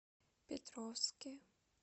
петровске